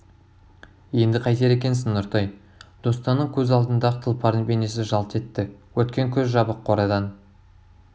енді қайтер екенсің нұртай достанның көз алдында ақ тұлпардың бейнесі жалт етті өткен күз жабық қорадан